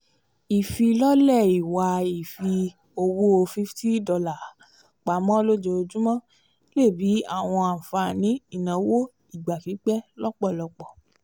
ifilọle ìwà ifi owó $50 pamọ lojoojumọ lè bí àwọn ànfàní ìnáwó ìgbà-pípẹ́ lọpọlọpọ